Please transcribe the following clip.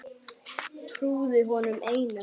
Trúði honum einum.